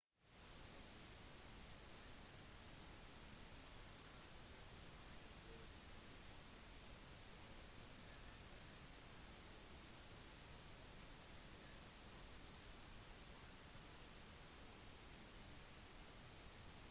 europeisk innflytelse og kolonialisme startet i det 15. århundre etter at den portugisiske oppdageren vasco da gama fant kapp-ruten fra europa til india